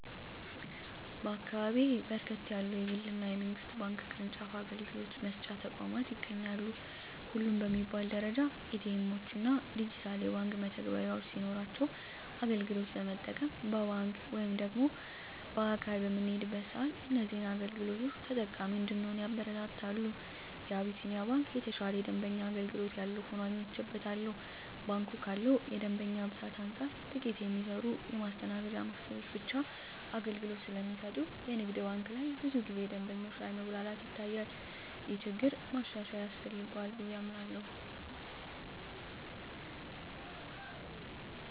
በአካባቢየ በርከት ያሉ የግል እና የመንግስት ባንክ ቅርጫፍ አገልግሎት መስጫ ተቋማት ይገኛሉ። ሁሉም በሚባል ደረጃ ኤ.ቲ. ኤምዎች እና ዲጂታል የባንክ መተግበሪያዎች ሲኖሯቸው አገልግሎት ለመጠቀም በአካል ወደ ባንክ በምንሄድበት ሰአትም እዚህን አገልግሎቶች ተጠቃሚ እንድንሆን ያበረታታሉ። የአቢስንያ ባንክ የተሻለ የደንበኛ አገልግሎት ያለው ሆኖ አግኝቸዋለሁ። ባንኩ ካለው የደንበኛ ብዛት አንፃር ጥቂት የሚሰሩ የማስተናገጃ መስኮቶች ብቻ አገልግሎት ስለሚሰጡ የንግድ ባንክ ላይ ብዙ ጊዜ ደንበኞች ላይ መጉላላት ይታያል። ይህ ችግር ማሻሻያ ያስፈልገዋል ብየ አምናለሁ።